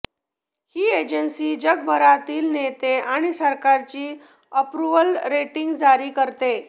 ही agency जगभरातील नेत आणि सरकारची अप्रूवल रेटिंग जारी करते